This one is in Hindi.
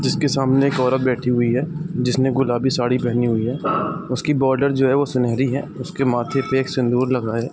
जिसके सामने एक औरत बैठी हुई है जिसने गुलाबी साड़ी पहनी हुई है उसकी बॉर्डर जो है वो सुनहरी है उसके माथे पे एक सिंदूर लगा है।